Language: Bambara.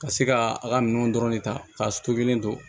Ka se ka a ka minɛnw dɔrɔn de ta k'a to kelen don